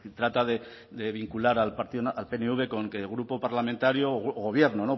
trata de vincular al pnv con que grupo parlamentario o gobierno